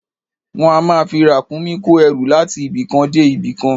Wọ́n á máa fi Ràkúnmí kó ẹrú láti ibì kan dé ibì kan